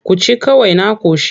Ku ci kawai na ƙoshi.